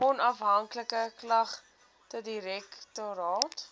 onafhanklike klagtedirektoraat